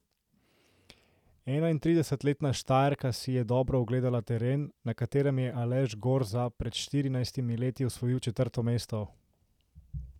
Enaintridesetletna Štajerka si jo dobro ogledala teren, na katerem je Aleš Gorza pred štirinajstimi leti osvojil četrto mesto.